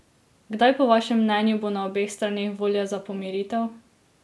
Kdaj po vašem mnenju bo na obeh straneh volja za pomiritev?